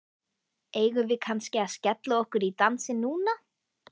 Eigum við kannski að skella okkur í dansinn núna?